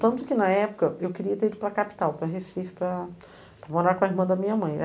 Tanto que, na época, eu queria ter ido para a capital, para Recife, para, para morar com a irmã da minha mãe.